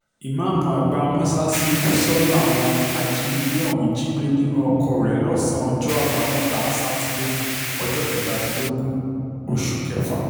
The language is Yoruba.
ìmàámu àgbà mòṣáṣáṣí úṣọ́ làwọn ajìnigbé ọ̀hún jí gbé nínú oko rẹ̀ lọ́sàn-án ọjọ́ àbámẹ́ta sátidé ọjọ́ kẹtàdínlógún oṣù kẹfà